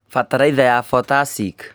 Bataraitha ya potassic